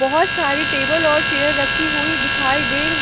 बहोत सारी टेबल और चेयर रखी हुई दिखाई दे रही--